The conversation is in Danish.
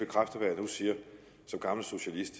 som gammel socialist